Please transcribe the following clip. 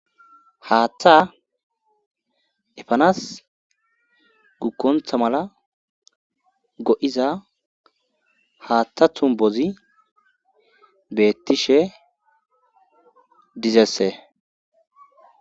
haaththa efanas gukkonta mala go7iza haaththa tumbozi beettishe dizesse